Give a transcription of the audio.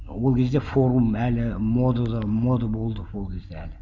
ол кезде форум әлі модада мода болды ол кезде әлі